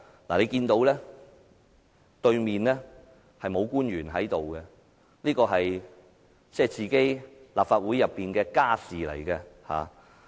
大家看到對面並無官員在席，因為這是立法會的"家事"。